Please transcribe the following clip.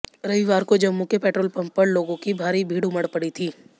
रविवार को जम्मू के पेट्रोल पंप पर लोगों की भारी भीड़ उमड़ पड़ी थी